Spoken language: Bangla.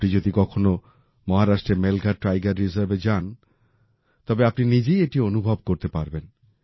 আপনি যদি কখনও মহারাষ্ট্রের মেলঘাট টাইগার রিজার্ভে যান তবে আপনি নিজেই এটি অনুভব করতে পারবেন